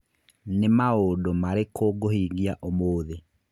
Nĩ maũndũ marĩkũ ngũhingia ũmũthĩ